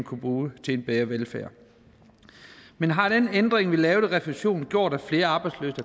kunne bruge til en bedre velfærd men har den ændring vi lavede i refusionen gjort at flere arbejdsløse